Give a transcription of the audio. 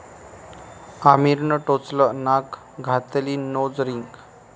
आमिरनं टोचलं नाक, घातली नोज रिंग